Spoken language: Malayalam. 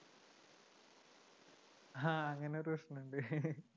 ആഹ് അങ്ങനെ ഒരു പ്രശ്‍നം ഉണ്ട്